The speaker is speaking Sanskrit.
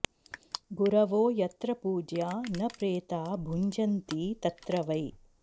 गुरवो यत्र पूज्या न प्रेता भुञ्जन्ति तत्र वै